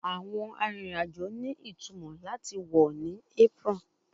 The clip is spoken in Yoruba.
Awọn arinrin-ajo ni itumọ lati wọ ni apron